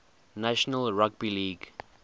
national rugby league